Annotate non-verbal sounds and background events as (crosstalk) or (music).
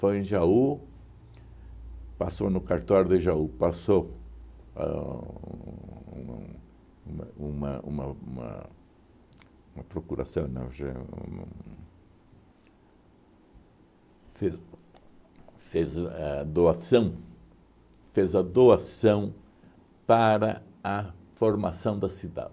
Foi em Jaú, passou no cartório de Jaú, passou ãh um uma uma uma uma uma procuração (unintelligible) fez fez a a doação, fez a doação para a formação da cidade.